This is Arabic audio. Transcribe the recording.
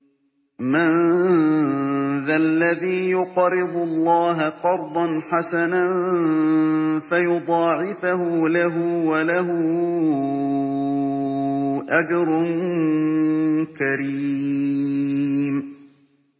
مَّن ذَا الَّذِي يُقْرِضُ اللَّهَ قَرْضًا حَسَنًا فَيُضَاعِفَهُ لَهُ وَلَهُ أَجْرٌ كَرِيمٌ